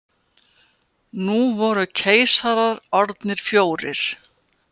Nú voru keisarar orðnir fjórir.